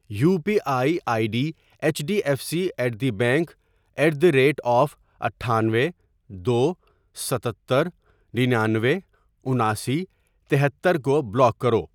You P I I D H D F C at the bank at the rate of اٹھانوے ، دو ، ستتر، ننانوے ، اناسی ، تہتر ، کو بلاک کرو۔